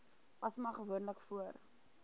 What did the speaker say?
asma gewoonlik voor